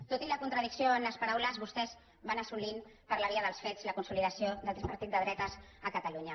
tot i la contradicció en les paraules vostès van assolint per la via dels fets la consolidació d’altres partits de dretes a catalunya